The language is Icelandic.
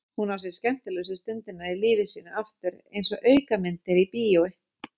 Hún sér skemmtilegustu stundirnar í lífi sínu aftur einsog aukamyndir í bíói.